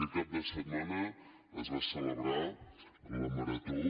aquest cap de setmana es va celebrar la marató